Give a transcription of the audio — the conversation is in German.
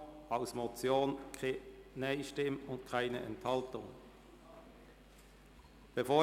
Es hat keine NeinStimmen und Enthaltungen gegeben.